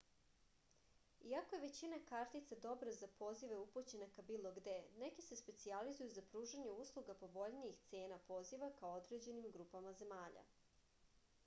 iako je većina kartica dobra za pozive upućene ka bilo gde neke se specijalizuju za pružanje usluga povoljnih cena poziva ka određenim grupama zemalja